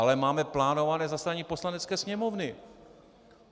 Ale máme plánované zasedání Poslanecké sněmovny.